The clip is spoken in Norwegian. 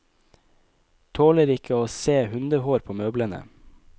Tåler ikke å se hundehår på møblene.